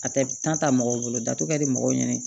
A tɛ ta mɔgɔw bolo datugu kɛdi mɔgɔw ɲini